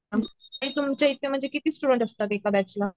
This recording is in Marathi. तुमच्या इथ म्हणजे किती स्टूडेंट्स असतात एका बैच ला